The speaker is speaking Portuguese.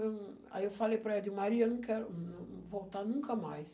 Eu, aí eu falei para a Edmaria, eu não quero voltar nunca mais.